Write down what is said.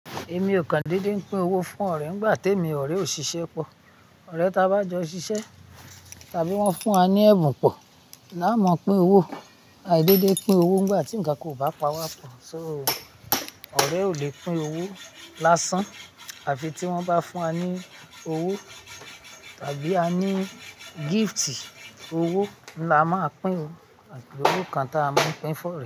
Èmi o kan deedé pin owó fún ọ̀rẹ́ nígbà tèmi òrẹ́ ò ṣiṣẹ́ pọ̀. Òrẹ́ tá bá jọ ṣiṣẹ́ tàbí wọ́n fún wa ní ẹ̀bùn pọ̀ ni a máa pín owó. Aì deedé pín owó nígbà tí ǹkankan ò bá pa wa pọ̀. So, ọ̀rẹ́ ò le pín owó lásán àfí tí wọ́n bá fún wa ní owó tàbí a ní gift owó ni a máa pín owó àbí olú kan tá a máa pín fún ọ.